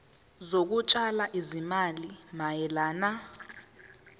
zokutshala izimali mayelana